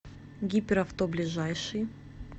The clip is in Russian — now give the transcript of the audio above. гиперавто ближайший